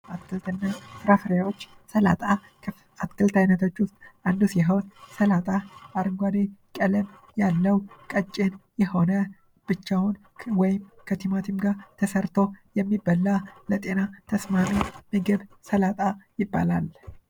አትክልት እና ፍራፍሬዎች ሰላጣ ሰላጣ ከአትክልት አይነቶች ዉስጥ አንሱ ሲሆን ሰላጣ አረንጕደ ቀለም ያለው ቀጭን የሆነ ብቻውን ወይም ከቲማትም ጋር ተሰርቶ የሚበላ ለጤና ተስማሚ ምግብ ሰላጣ ይባላል::